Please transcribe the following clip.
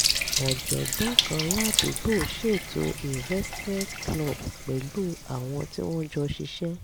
ọ̀jọ̀gbọ́n kan ládùúgbò ṣètò investment club pẹ̀lú àwọn tí wọ́n jọ ṣiṣẹ́